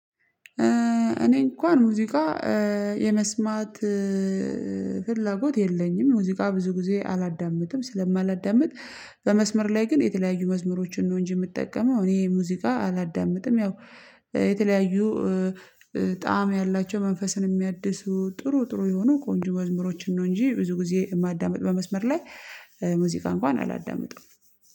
እኔ እንኳን ሙዚቃ የመስማት ፍላጎት የለኝም። ሙዚቃ ብዙ ጊዜ አላዳምጥም ስለማላዳምጥ በመስመር ላይ ግን የተለያዩ መዝሙሮችን ነው እንጂ የምጠቀመው እኔ ሙዚቃ አላዳምጥም። ያው የተለያዩ ጣዕም ያላቸው መንፈስን የሚያድሱ ጥሩ ጥሩ የሆኑ ቆንጆ መዝሙሮችን ነው። እንጂ ብዙ ጊዜ የማዳምጥ በመስመር ላይ ሙዚቃ እንኳን አላዳምጥም